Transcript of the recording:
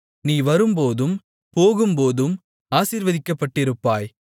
நீ வரும்போதும் போகும்போதும் ஆசீர்வதிக்கப்பட்டிருப்பாய்